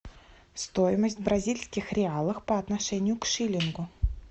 стоимость бразильских реалов по отношению к шилингу